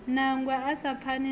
nangwe a sa pfani nao